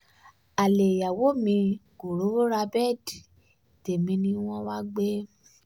alẹ́ ìyàwó mi kò rówó ra bẹ́ẹ̀dì tẹ̀mí ni wọ́n wáá gbé